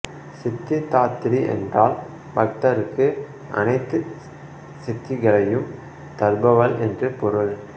சித்திதாத்ரி என்றால் பக்தருக்கு அனைத்து சித்திகளையும் தருபவள் என்று பொருள்